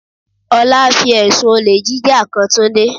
Ọlá fi ẹ̀sùn olè jíjà kan Túndé.